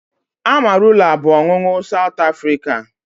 Amarula bụ ọṅụṅụ South Africa